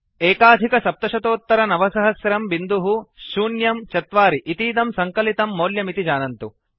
970104 इतीदं सङ्कलितं मौल्यमिति जानन्तु